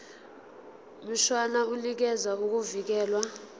mshwana unikeza ukuvikelwa